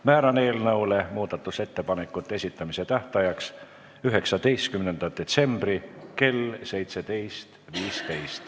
Määran eelnõu muudatusettepanekute esitamise tähtajaks 19. detsembri kell 17.15.